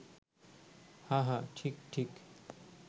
হাঁ হাঁ, ঠিক ঠিক